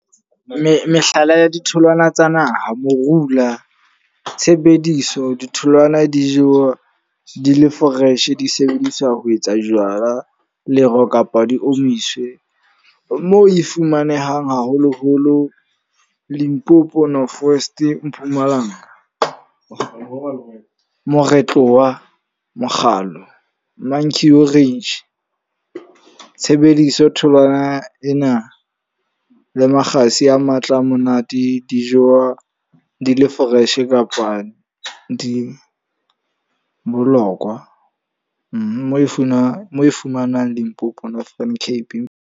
Mehlala ya ditholwana tsa naha, Morula. Tshebediso, ditholwana di jewa di le fresh di sebediswa ho etsa jwala, lero kapa di omiswe. Mo e fumanehang haholo-holo, Limpopo, North West, Mpumalanga. Moretlo wa mokgalo, manku orange. Tshebediso tholwana ena le makgasi a matla a monate. Dijo di le fresh kapa di bolokwa. Mo e fumanwang Limpopo, Northern Cape.